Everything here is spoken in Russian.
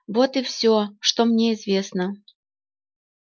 вот и всё что мне известно